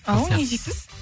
ау не дейсіз